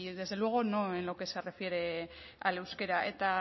desde luego no en lo que se refiere al euskera eta